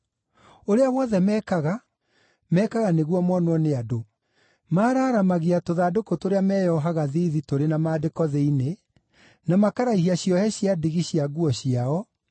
“Ũrĩa wothe mekaga, mekaga nĩguo monwo nĩ andũ: Maaraaramagia tũthandũkũ tũrĩa meyohaga thiithi tũrĩ na maandĩko thĩinĩ, na makaraihia ciohe cia ndigi cia nguo ciao,